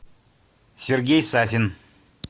сергей сафин